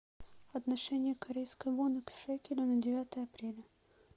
отношение корейской воны к шекелю на девятое апреля